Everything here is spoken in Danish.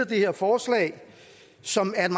det her forslag som er et